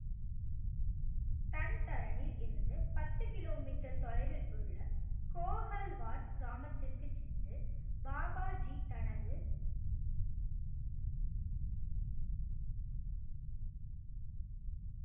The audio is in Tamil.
டன் தரனிலிருந்து பத்து கிலோமீட்டர் தொலைவில் உள்ள கோகல் வாட் கிராமத்திற்கு சென்று பாபா ஜி தனது